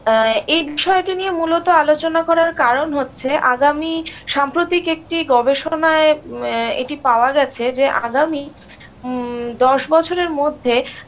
এ এই বিষয়টি নিয়ে মূলত আলোচনা করার কারণ হচ্ছে আগামী সাম্প্রতিক একটি গবেষণায় ম্যা এটি পাওয়া গেছে যে আগামী উমম্ দশ বছরের মধ্যে